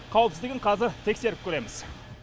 қауіпсіздігін қазір тексеріп көреміз